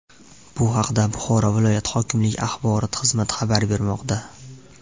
Bu haqda Buxoro viloyat hokimligi axborot xizmati xabar bermoqda .